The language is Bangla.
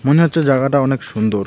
মনে হচ্ছে জাগাটা অনেক সুন্দর.